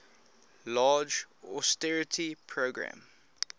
large austerity program